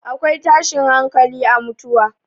akwai tashin hankali a mutuwa